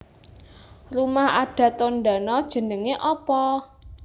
Rumah adat Tondano jenenge opo?